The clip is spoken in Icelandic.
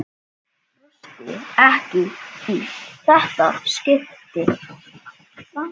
Brosti ekki í þetta skipti.